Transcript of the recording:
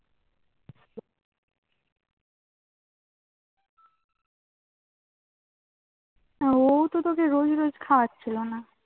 না ও তো তোকে রোজ রোজ খাওয়াচ্ছিলো না